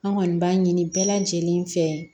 An kɔni b'a ɲini bɛɛ lajɛlen fɛ